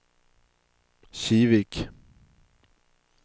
Kivik